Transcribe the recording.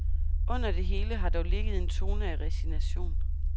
Under det hele har dog ligget en tone af resignation.